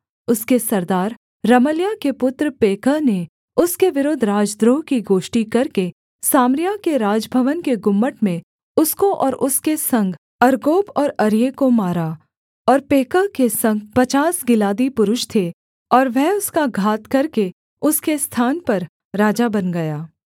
उसके सरदार रमल्याह के पुत्र पेकह ने उसके विरुद्ध राजद्रोह की गोष्ठी करके सामरिया के राजभवन के गुम्मट में उसको और उसके संग अर्गोब और अर्ये को मारा और पेकह के संग पचास गिलादी पुरुष थे और वह उसका घात करके उसके स्थान पर राजा बन गया